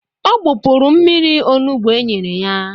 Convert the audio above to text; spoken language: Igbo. Ọ gbupụrụ mmiri onugbu enyere ya